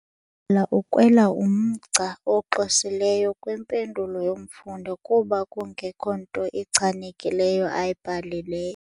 Utitshala ukrwele umgca oxwesileyo kwimpendulo yomfundi kuba kungekho nto ichanekileyo ayibhalileyo.